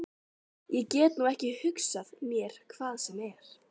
Ég get nú ekki hugsað mér hvað sem er.